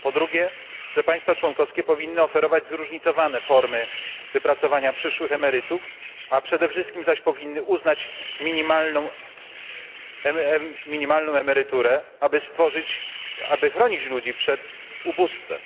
Po drugie, że państwa członkowskie powinny oferować zróżnicowane formy wypracowania przyszłych emerytur, a przede wszystkim zaś powinny uznać minimalną emeryturę, aby chronić ludzi przed ubóstwem.